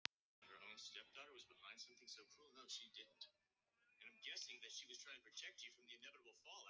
Já, ég skal fara með þig einhvern tíma.